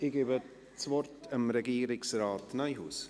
Ich gebe das Wort Regierungsrat Neuhaus.